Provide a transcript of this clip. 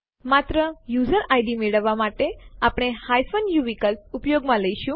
માત્ર user ID મેળવવા માટે આપણે ઉ વિકલ્પ ઉપયોગ માં લઈશું